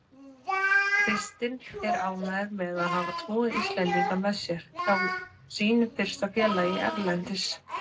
Kristinn er ánægður með að hafa tvo Íslendinga með sér hjá sínu fyrsta félagi erlendis.